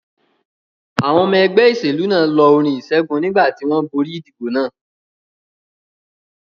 Àwọn ọmọ ẹgbẹ́ ìṣèlú náà lọ orin ìṣẹ́gun nígbà tí wọ́n borí ìdìbò náà.